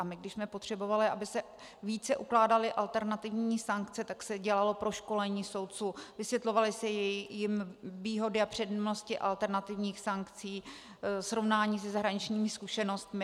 A my, když jsme potřebovali, aby se více ukládaly alternativní sankce, tak se dělalo proškolení soudců, vysvětlovaly se jim výhody a přednosti alternativních sankcí, srovnání se zahraničními zkušenostmi.